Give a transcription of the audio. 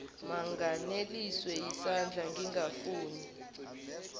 manganeliswe yisandla ngingafuni